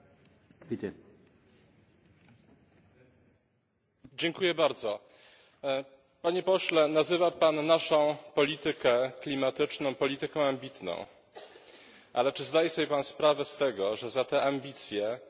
Panie Pośle, nazywa Pan naszą politykę klimatyczną polityką ambitną, ale czy zdaje sobie Pan sprawę z tego, że za te ambicje płacą przede wszystkim uboższe kraje Unii Europejskiej, te kraje, które mają najmniej pieniędzy